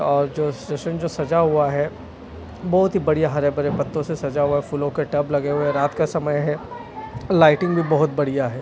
और जो स्टेशन जो सजा हुआ है बहुत ही बढ़िया हरे बरे पत्तों से सजा हुआ है फूलों के टब लगे हुए हैं रात का समय है लाइटिंग भी बहुत बढ़िया है।